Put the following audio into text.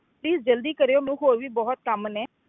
Please ਜ਼ਲਦੀ ਕਰਿਓ ਮੈਨੂੰ ਹੋਰ ਵੀ ਬਹੁਤ ਕੰਮ ਨੇ।